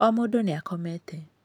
O mũndũ nĩ akomete.